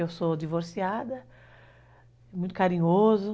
Eu sou divorciada, muito carinhoso.